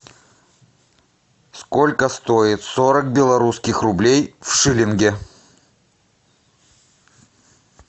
сколько стоит сорок белорусских рублей в шиллинге